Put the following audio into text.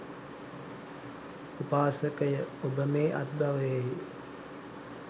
උපාසකය, ඔබ මේ අත්බවයෙහි